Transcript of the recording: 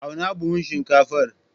Auna buhun shinkafar.